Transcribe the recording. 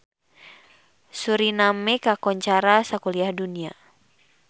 Suriname kakoncara sakuliah dunya